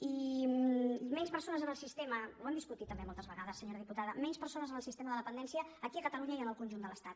i menys persones en el sistema ho hem discutit també moltes vegades senyora diputada menys persones en el sistema de dependència aquí a catalunya i en el conjunt de l’estat